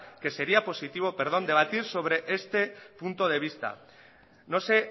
que sería positivo debatir sobre este punto de vista no sé